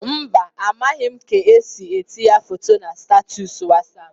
Mba, amaghị m ka esi etinye foto na statọs Wasap.